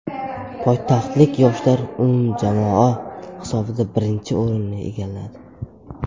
Poytaxtlik yoshlar umumjamoa hisobida birinchi o‘rinni egalladi.